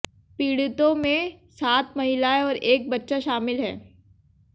पीड़ितों में सात महिलाएं और एक बच्चा शामिल है